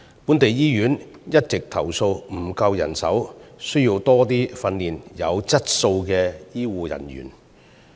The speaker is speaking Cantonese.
本地醫院一直投訴沒有足夠人手，需要訓練更多有質素的醫護人員。